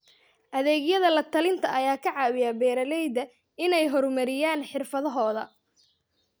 Adeegyada la-talinta ayaa ka caawiya beeralayda inay horumariyaan xirfadahooda.